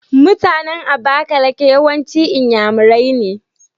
MutAnan abakaliki yawanci inyamurai ne